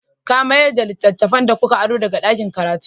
Ka mayar da littattafan da kuka aro daga ɗakin karatu?